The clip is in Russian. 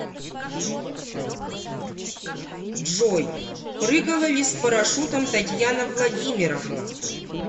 джой прыгала ли с парашютом татьяна владимировна